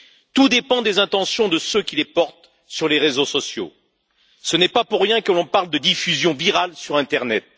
Tout dépend des intentions de ceux qui les portent sur les réseaux sociaux, ce n'est pas pour rien que l'on parle de diffusion virale sur l'internet.